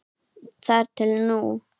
Þar til nú.